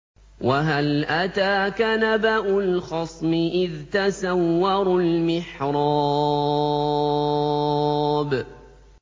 ۞ وَهَلْ أَتَاكَ نَبَأُ الْخَصْمِ إِذْ تَسَوَّرُوا الْمِحْرَابَ